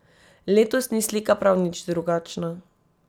Letos ni slika prav nič drugačna.